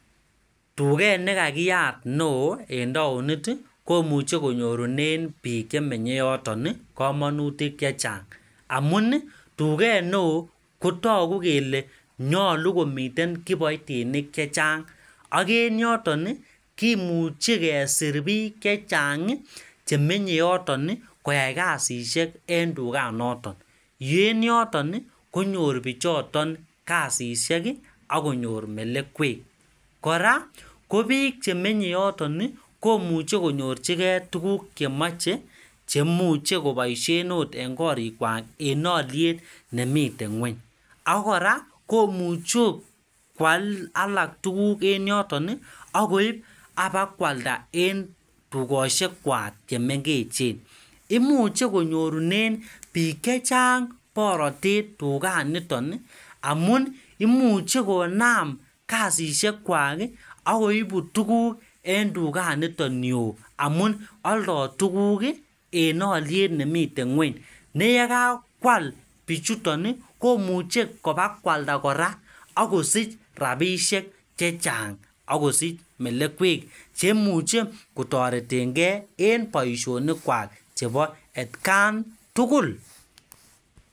Tuget nekakiyaat neo eng taonit komuchei konyurunen biik chemenyei yoton komonutik chechang' amun tuget neo kotogu kele nyolu komiten kibaitinik chechang' akeng' yoton komuchen kesir biik chechang' chemenyei yoton koyai kasisek eng' tuganoto eng' yoton konyor bichoton kasishek akonyor melekwek kora ko biik chemenyei yoton komuchen konyorchingei tukuk chemachei cheimuchei koboishen ot eng' korikwak eng' oliet nemitei ng'weny ako kora komuchei akot koal alak tukuk eng' yoton akoib apakwalda eng' tugoshek kwak chemengech imuchen konyorunen biik chechang' porotet tuganiton amun imuchi konaam kasishekwak akoibu tuguk eng' tuganito nio amun oldoi tukuk eng' oliet nemitei ng'weny neyekakwal biichuton komuchei kobakwalda kora akosich rapishek chechang' akosich melekwek cheimuchei kotoretengei eng boishonik kwak chebo atkantugul.